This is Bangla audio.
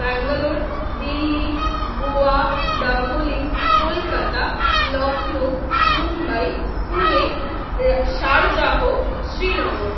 ব্যাঙ্গালোর, দিল্লি, গোয়া, ডাবলিম, কলকাতা, লখনৌ, মুম্বাই, পুনে, সারজাহ, শ্রীনগর